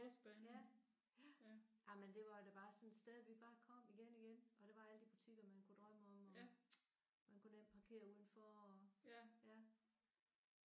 Ja! Ja. Jamen det var da bare sådan et sted vi bare kom igen igen og der var alle de butikker man kunne drømme om og man kunne nemt parkere udenfor og ja